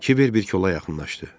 Kiber bir kola yaxınlaşdı.